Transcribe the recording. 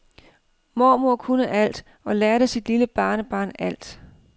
Mormor kunne alt og lærte sit lille barnebarn alt.